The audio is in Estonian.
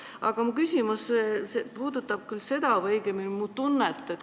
Aga minu küsimus on selline.